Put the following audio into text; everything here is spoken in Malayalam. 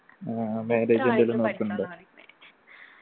ആ marriage എന്തെങ്കിലും നോക്കുന്നുണ്ടോ